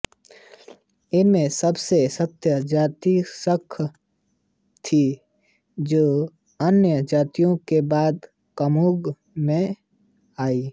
इनमें सबसे सशक्त जाति खस थी जो अन्य जातियों के बाद कुमाऊँ में आई